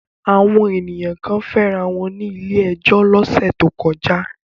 Àwọn ènìyàn kan fẹ́ra wọn ní ilé-ẹjọ́ lọ́sẹ̀ tó kọjá.